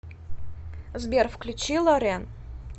сбер включи лорен